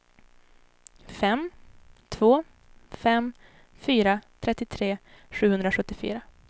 fem två fem fyra trettiotre sjuhundrasjuttiofyra